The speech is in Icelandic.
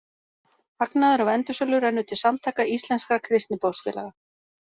Hagnaður af endursölu rennur til Samtaka íslenskra kristniboðsfélaga.